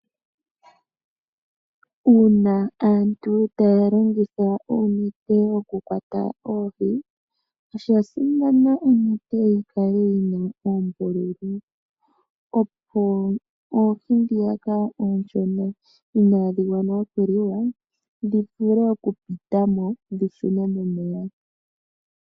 Uuna aantu taa landitha uunete wokukwata oohi, osha simana onete yikale yi na oombululu, opo oohi dnhoka oonshona inaadhi adha okuliwa dhi vule okupita mo dhi shune momeya.